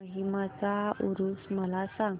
माहीमचा ऊरुस मला सांग